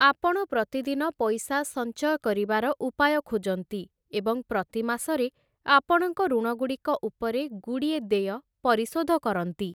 ଆପଣ ପ୍ରତିଦିନ ପଇସା ସଞ୍ଚୟ କରିବାର ଉପାୟ ଖୋଜନ୍ତି, ଏବଂ ପ୍ରତି ମାସରେ ଆପଣଙ୍କ ଋଣଗୁଡ଼ିକ ଉପରେ ଗୁଡ଼ିଏ ଦେୟ ପରିଶୋଧ କରନ୍ତି ।